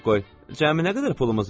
Cəmi nə qədər pulumuz var?